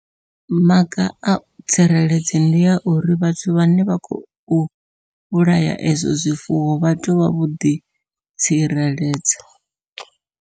Maga a tsireledzo ndi a uri vhathu vhane vha khou vhulaya ezwo zwifuwo vha tea uvha vho ḓi tsireledza.